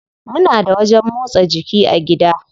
Muna da wajen motsa jiki a gida.